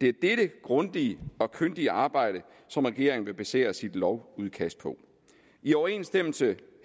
det er dette grundige og kyndige arbejde som regeringen vil basere sit lovudkast på i overensstemmelse